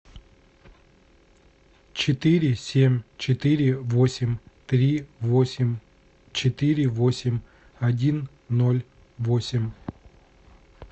четыре семь четыре восемь три восемь четыре восемь один ноль восемь